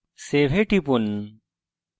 এখন save এ টিপুন